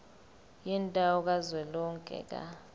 yendawo kazwelonke ka